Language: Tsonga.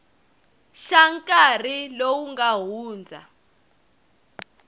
xa nkarhi lowu nga hundza